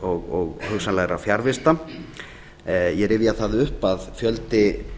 og hugsanlegra fjarvista ég rifja það upp að fjöldi